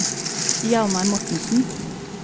Hjalmar Mortensen